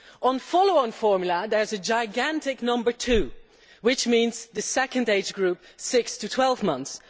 On follow on formula there is gigantic number 2', which means the second age group, six to twelve months.